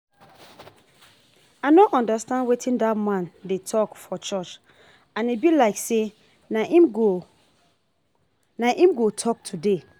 I no understand wetin dat man dey talk for church and e be like say na him go na him go talk today